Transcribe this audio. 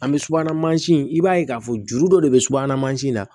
An bɛ subahana mansin i b'a ye k'a fɔ juru dɔ de bɛ subu mansin na